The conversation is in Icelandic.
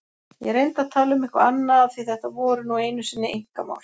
Ég reyndi að tala um eitthvað annað af því þetta voru nú einu sinni einkamál.